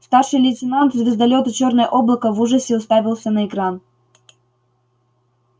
старший лейтенант звездолёта чёрное облако в ужасе уставился на экран